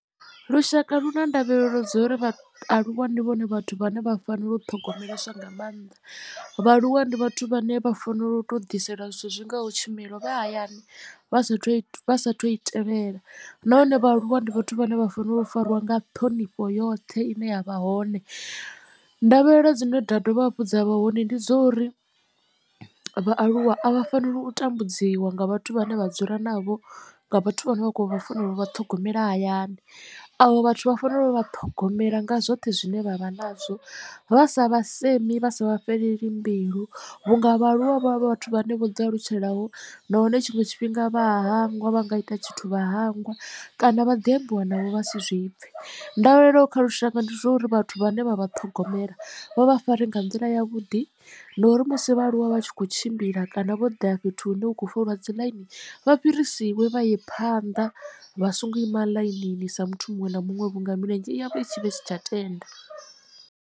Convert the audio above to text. Lushaka lu na ndavhelelo dza uri vha aluwa ndi vhone vhathu vhane vha fanela u ṱhogomeleswa nga maanḓa vhaaluwa ndi vhathu vhane vha fanela u to ḓiselwa zwithu zwi ngaho tshumelo vha hayani vha sathu vha sathu i tevhela nahone vhaaluwa ndi vhathu vhane vha fanela u fariwa nga ṱhonifho yoṱhe ine ya vha hone. Ndavhelelo dzine nda dovha hafhu dza vha hone ndi dzo uri vhaaluwa a vha faneli u tambudziwa nga vhathu vhane vha dzula navho nga vhathu vhane vha kho vha fanela u vha ṱhogomela hayani avho vhathu vha fanela u vha ṱhogomela nga zwoṱhe zwine vha vha nadzo vha sa vha semi vha sa vha fhelela mbilu. Vhunga vha aluwa vha vhathu vhane vho ḓi alutshela ho nahone tshiṅwe tshifhinga vha a hangwa vha nga ita tshithu vha hangwa kana vha ḓi ambiwa navho vha si zwi pfhe. Ndavhelelo kha lushaka ndi zwa uri vhathu vhane vha vha ṱhogomela vha vha fare nga nḓila yavhuḓi ndi uri musi vhaaluwa vha tshi khou tshimbila kana vho ḓa fhethu hune hu khou foliwa dzi ḽaini vha fhirisiwe vha ye phanḓa vha songo ima ḽainini sa muthu muṅwe na muṅwe vhunga milenzhe yavho i tshi vha isi tsha tenda.